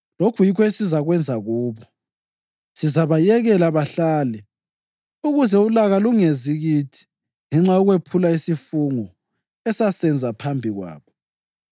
Lokhu yikho esizakwenza kubo: Sizabayekela bahlale, ukuze ulaka lungezi kithi ngenxa yokwephula isifungo esasenza phambi kwabo.”